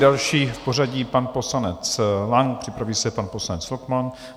Další v pořadí pan poslanec Lang, připraví se pan poslanec Lochman.